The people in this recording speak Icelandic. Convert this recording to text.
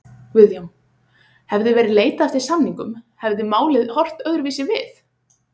Guðjón: Hefði verið leitað eftir samningum hefði málið horft öðruvísi við?